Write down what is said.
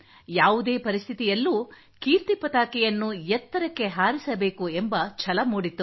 ಯಾವುದೇ ಪರಿಸ್ಥಿತಿಯಲ್ಲೂ ಕೀರ್ತಿ ಪತಾಕೆಯನ್ನು ಎತ್ತರಕ್ಕೆ ಹಾರಿಸಬೇಕು ಎಂಬ ಛಲ ಮೂಡಿತ್ತು